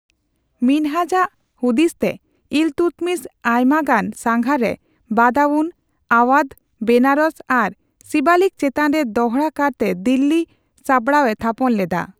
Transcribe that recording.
ᱢᱤᱱᱦᱟᱡᱽ ᱟᱜ ᱦᱩᱫᱤᱥᱛᱮ, ᱤᱞᱛᱩᱛᱢᱤᱥ ᱟᱭᱢᱟ ᱜᱟᱱ ᱥᱟᱜᱷᱟᱨ ᱨᱮ ᱵᱟᱫᱟᱣᱩᱱ, ᱟᱣᱣᱟᱫᱷ, ᱵᱮᱱᱟᱨᱚᱥ, ᱟᱨ ᱥᱤᱵᱟᱞᱤᱠ ᱪᱮᱛᱟᱱ ᱨᱮ ᱫᱚᱦᱲᱟ ᱠᱟᱨᱛᱮ ᱫᱤᱞᱞᱤ ᱥᱟᱸᱵᱽᱲᱟᱣᱮ ᱛᱷᱟᱯᱚᱱ ᱞᱮᱫᱟ ᱾